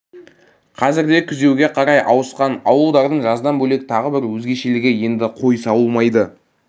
қазірде күзеуге қарай ауысқан ауылдардың жаздан бөлек тағы бір өзгешелігі енді қой сауылмайды